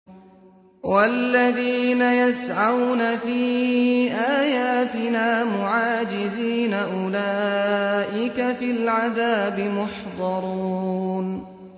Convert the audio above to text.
وَالَّذِينَ يَسْعَوْنَ فِي آيَاتِنَا مُعَاجِزِينَ أُولَٰئِكَ فِي الْعَذَابِ مُحْضَرُونَ